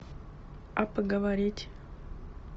а поговорить